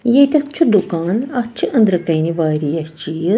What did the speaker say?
.ییٚتٮ۪تھ چُھ دُکان اَتھ چھ أنٛدرٕکنہِ واریاہ چیٖز